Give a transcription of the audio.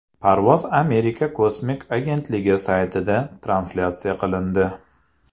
Parvoz Amerika kosmik agentligi saytida translyatsiya qilindi .